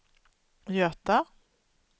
Göta